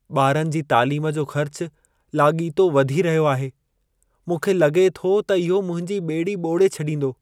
ॿारनि जी तालीम जो ख़र्चु लाॻीतो वधी रहियो आहे। मूंखे लॻे थो त इहो मुंहिंजी ॿेड़ी ॿोड़े छॾींदो।